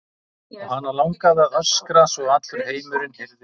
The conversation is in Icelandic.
Og hana langaði að öskra svo að allur heimurinn heyrði í hamingju hennar.